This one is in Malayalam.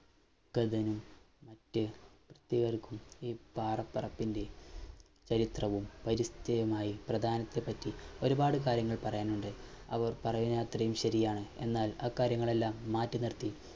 തുടർന്ന് മറ്റ് കുട്ടികൾക്കും ഇ പാറപ്പുറത്തിന്റെ ചരിത്രവും പരിശ്ചയമായി പ്രധാനത്തെ പറ്റി ഒരുപാട് കാര്യങ്ങൾ പറയാനുണ്ട് അവർ പറയുന്നത്രയും ശെരിയാണ് എന്നാൽ അ കാര്യങ്ങളെല്ലാം മാറ്റി നിർത്തി